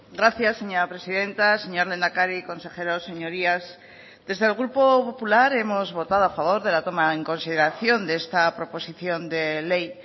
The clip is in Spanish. gracias señora presidenta señor lehendakari consejeros señorías desde el grupo popular hemos votado a favor de la toma en consideración de esta proposición de ley